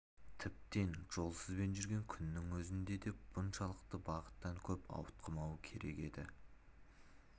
тіптен жолсызбен жүрген күннің өзінде де бұншалықты бағыттан көп ауытқымауы керек еді